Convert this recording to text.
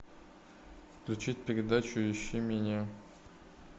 включи передачу ищи меня